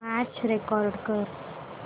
match record कर